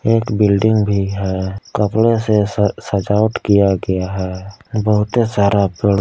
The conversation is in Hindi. एक बिल्डिंग भी है कपड़े से स सजावट किया गया है बहुते सारा पेड़--